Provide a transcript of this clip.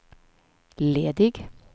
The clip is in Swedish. ledig